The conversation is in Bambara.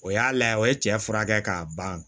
O y'a layɛ o ye cɛ furakɛ k'a ban